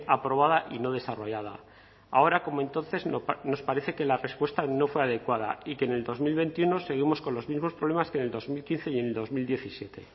aprobada y no desarrollada ahora como entonces nos parece que la respuesta no fue adecuada y que en dos mil veintiuno seguimos con los mismos problemas que en dos mil quince y en dos mil diecisiete